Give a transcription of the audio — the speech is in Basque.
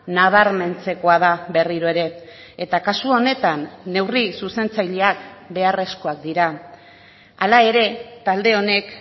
nabarmentzekoa da berriro ere eta kasu honetan neurri zuzentzaileak beharrezkoak dira hala ere talde honek